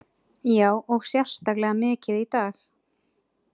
Já, og sérstaklega mikið í dag.